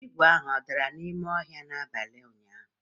igwe ahụ o dara n'ime ọhịa n'abalị ụnyaahụ?